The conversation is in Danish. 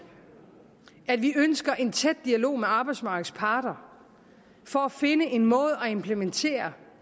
at vi ønskede en tæt dialog med arbejdsmarkedets parter for at finde en måde at implementere